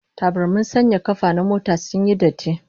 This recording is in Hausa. Tabarmin sanya kafa na motar sun yi datti